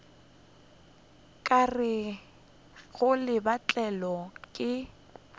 ka rego le betlilwe ke